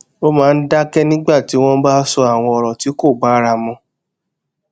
ó máa ń dákẹ nígbà tí wón bá ń sọ àwọn òrò tí kò bára mu